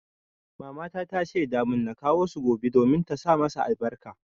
Mamata ta shaida mun na kawo su gobe domin ta sa masa albarka.